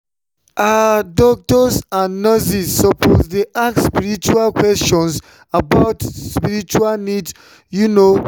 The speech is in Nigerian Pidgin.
ah doctors and nurses suppose dey ask respectful questions about spiritual needs you know.